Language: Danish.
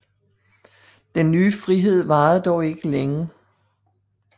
Den nye frihed varede dog ikke længe